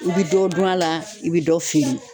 I bɛ dɔ dun a la, i bɛ dɔ feere.